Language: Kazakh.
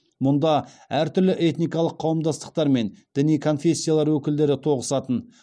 мұнда әртүрлі этникалық қауымдастықтар мен діни конфессиялар өкілдері тоғысатын